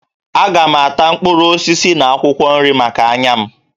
Aga m ata mkpụrụ osisi na akwụkwọ nri maka anya m